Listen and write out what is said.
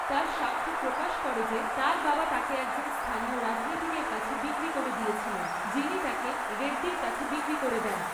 তার সাক্ষ্য প্রকাশ করে যে তার বাবা তাকে একজন স্থানীয় রাজনীতিকের কাছে বিক্রি করে দিয়েছিলেন, যিনি তাকে রেড্ডির কাছে বিক্রি করে দেন।